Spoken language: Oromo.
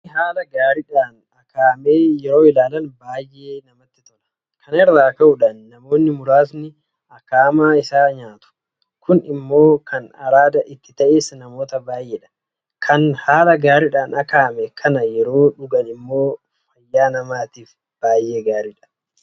Bunni haala gaariidhaan akaa'ame yeroo ilaalan baay'ee namatti tola. Kana irraa ka'uudhaan namoonni muraasni akaa'amaa isaa nyaatu. Kun immoo kan araada itti ta'es namoota baay'eedha. Kan haala gaariidhaan akaa'ame kana yeroo dhugan immoo fayyaa namaatiif bayeessa.